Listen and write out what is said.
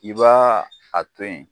I b'a a to yen